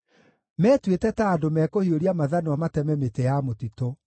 Metuĩte ta andũ mekũhiũria mathanwa mateme mĩtĩ ya mũtitũ.